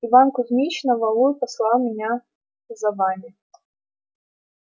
иван кузмич на валу и послал меня за вами